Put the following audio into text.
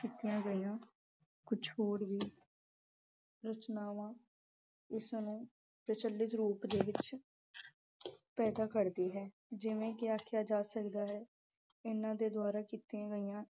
ਰਚਇਆ ਗਈਆ ਕੁਝ ਹੋਰ ਵੀ ਰਚਨਾਵਾਂ ਇਸ ਨੂੰ ਪ੍ਰਚੱਲਿਤ ਰੂਪ ਦੇ ਵਿੱਚ ਪੈਦਾ ਕਰਦੀ ਹੈ। ਜਿਵੇਂ ਕਿ ਆਖਿਆ ਜਾ ਸਕਦਾ ਹੈ ਇਹਨਾਂ ਦੇ ਦੁਆਰਾ ਕੀਤੀਆਂ ਗਈਆ